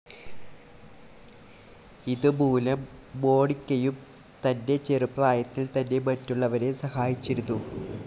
ഇതു മൂലം മോനിക്കയും തന്റെ ചെറുപ്രായത്തിൽ തന്നെ മറ്റുള്ളവരെ സഹായിച്ചിരുന്നു.